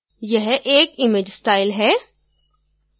यह एक image style है